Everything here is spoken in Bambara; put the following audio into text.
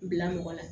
Bila mɔgɔ la